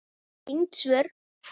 Tengd svör